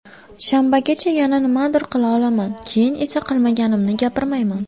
Shanbagacha yana nimadir qila olaman, keyin esa qilmaganimni gapirmayman.